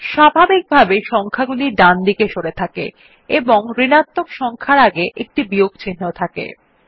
স্বাভাবিকভাবে সংখ্যাগুলি ডানদিকে সরে থাকে এবং ঋণাত্মক সংখ্যার আগে একটি বিয়োগ চিহ্ন থাকে